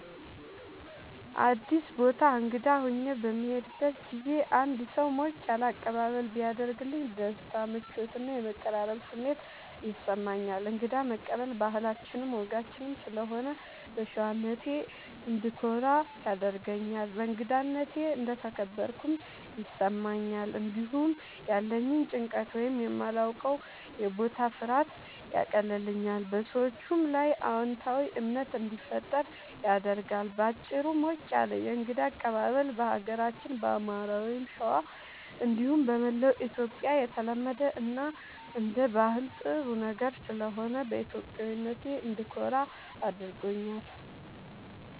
አዲስ ቦታ እንግዳ ሆኜ በምሄድበት ጊዜ አንድ ሰው ሞቅ ያለ አቀባበል ቢያደርግልኝ ደስታ፣ ምቾት እና የመቀራረብ ስሜት ይሰማኛል። እንግዳ መቀበል ባህላችንም ወጋችንም ስለሆነ በሸዋነቴ እንድኮራ ያደርገኛል። በእንግዳነቴ እንደተከበርኩም ይሰማኛል። እንዲሁም ያለኝን ጭንቀት ወይም የማላዉቀዉ የቦታ ፍርሃት ያቀልልኛል፣ በሰዎቹም ላይ አዎንታዊ እምነት እንዲፈጠር ያደርጋል። በአጭሩ፣ ሞቅ ያለ የእንግዳ አቀባበል በሀገራችን በአማራ(ሸዋ) እንዲሁም በመላዉ ኢትዮጽያ የተለመደ እና አንደ ባህል ጥሩ ነገር ስለሆነ በኢትዮጵያዊነቴ እንድኮራ ያደርገኛል።